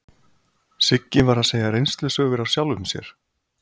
Siggi var að segja reynslusögur af sjálfum sér.